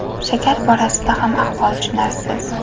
Shakar borasida ham ahvol tushunarsiz.